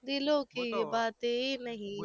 દીલો કી બાતે નહી